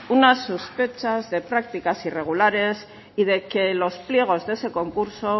unas sospechas de prácticas irregulares y de que los pliegos de ese concurso